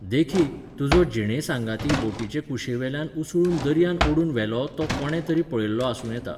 देखीक, तुजो जिणेसांगाती बोटीचे कुशीवेल्यान उसळून दर्यान ओडून व्हेलो तो कोणे तरी पळयल्लो आसूं येता.